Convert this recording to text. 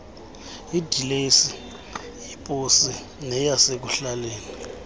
idilesi yeposi neyasekuhlaleni